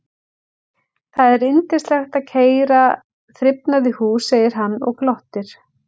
Það er yndislegt að keyra þrifnað í hús, segir hann og glottir.